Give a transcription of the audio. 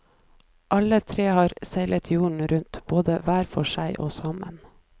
Alle tre har seilt jorden rundt, både hver for seg og sammen.